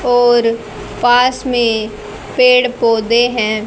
और पास में पेड़ पौधे हैं।